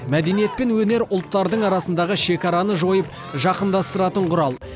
мәдениет пен өнер ұлттардың арасындағы шекараны жойып жақындастыратын құрал